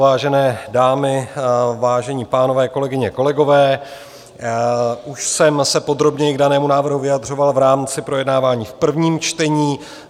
Vážené dámy, vážení pánové, kolegyně, kolegové, už jsem se podrobněji k danému návrhu vyjadřoval v rámci projednávání v prvním čtení.